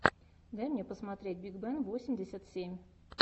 дай мне посмотреть биг бен восемьдесят семь